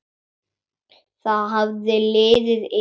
Það hafði liðið yfir hana!